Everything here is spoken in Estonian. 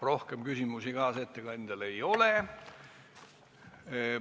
Rohkem küsimusi kaasettekandjale ei ole.